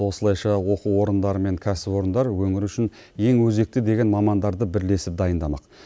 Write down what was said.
осылайша оқу орындары мен кәсіпорындар өңір үшін ең өзекті деген мамандарды бірлесіп дайындамақ